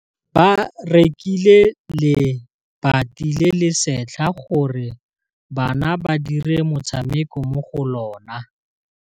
Ba rekile lebati le le setlha gore bana ba dire motshameko mo go lona.